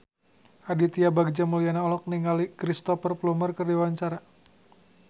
Aditya Bagja Mulyana olohok ningali Cristhoper Plumer keur diwawancara